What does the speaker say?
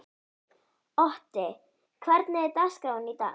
Otti, hvernig er dagskráin í dag?